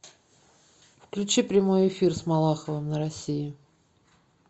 включи прямой эфир с малаховым на россии